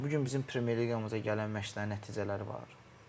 Bu gün bizim Premyer Liqamıza gələn məşçilərin nəticələri var.